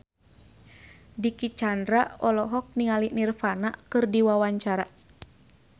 Dicky Chandra olohok ningali Nirvana keur diwawancara